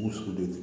Muso don